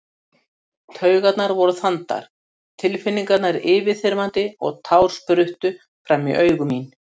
Taugarnar voru þandar, tilfinningarnar yfirþyrmandi og tár spruttu fram í augu mín.